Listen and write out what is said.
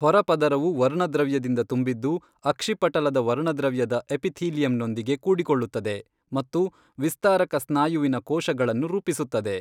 ಹೊರ ಪದರವು ವರ್ಣದ್ರವ್ಯದಿಂದ ತುಂಬಿದ್ದು, ಅಕ್ಷಿಪಟಲದ ವರ್ಣದ್ರವ್ಯದ ಎಪಿಥೀಲಿಯಂನೊಂದಿಗೆ ಕೂಡಿಕೊಳ್ಳುತ್ತದೆ, ಮತ್ತು ವಿಸ್ತಾರಕ ಸ್ನಾಯುವಿನ ಕೋಶಗಳನ್ನು ರೂಪಿಸುತ್ತದೆ.